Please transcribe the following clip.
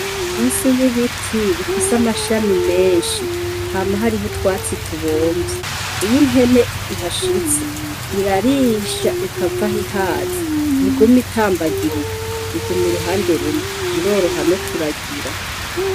Munsi y'ibiti bifise amashami menshi hama hariho utwatsi tubomvye. Iyo impene ihashitse, irarisha ikavaho ihaze. Ntiguma itambagirika, iguma uruhande rumwe. Iroroha no kuragira.